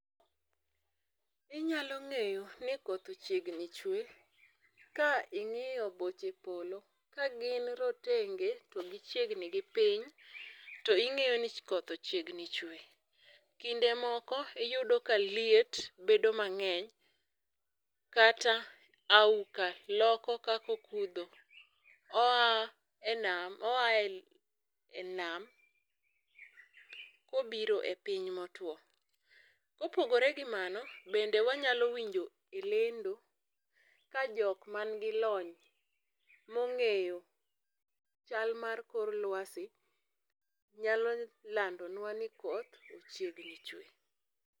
Inyalo ng'eyo ni koth ochiegni chwe king'iyo boche polo ka gin rotenge to gichiegni gi piny ting'eyo ni koth ochiegni chwe. Kinde moko iyudo ka liet bedo mang'eny kata auoka loko kakokudho oa e nam kobiro e piny motwo .Kopogore gi mano bende wanyalo winjo e lendo kajok ma n'gi lony mong'eyo chal mar kor lwasi nyalo landonwa ni koth ochiegni chwe.